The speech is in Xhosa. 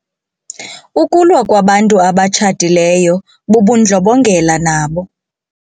Ukulwa kwabantu abatshatileyo bubundlobongela nabo.